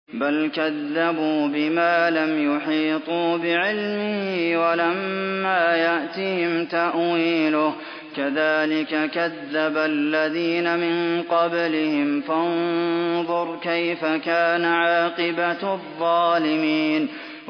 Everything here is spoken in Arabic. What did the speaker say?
بَلْ كَذَّبُوا بِمَا لَمْ يُحِيطُوا بِعِلْمِهِ وَلَمَّا يَأْتِهِمْ تَأْوِيلُهُ ۚ كَذَٰلِكَ كَذَّبَ الَّذِينَ مِن قَبْلِهِمْ ۖ فَانظُرْ كَيْفَ كَانَ عَاقِبَةُ الظَّالِمِينَ